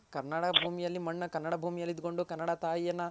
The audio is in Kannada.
ಕನ್ನಡ ಭೂಮಿ ಅಲ್ಲಿ ಮಣ್ಣ ಕನ್ನಡ ಭೂಮಿ ಅಲ್ ಇದ್ ಕೊಂಡು ಕನ್ನಡ ತಾಯಿಯನ.